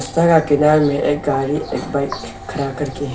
का किनार में एक गाड़ी एक बाइक खड़ा करके है।